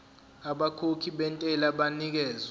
abakhokhi bentela banikezwa